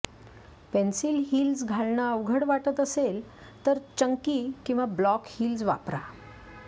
pencil heels घालणं अवघड वाटत असेल तर चंकी किंवा ब्लॉक हील्स वापरा